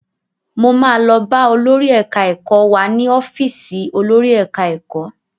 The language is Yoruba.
Mo máa lọ bá olórí ẹ̀ka ẹ̀kọ́ wá ní ọ́fìsì olórí ẹ̀ka ẹ̀kọ́.